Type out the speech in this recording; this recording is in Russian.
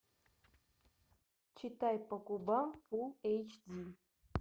читай по губам фулл эйч ди